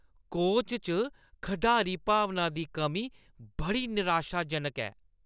Coach च खढारी-भावना दी कमी बड़ी निराशाजनक ऐ।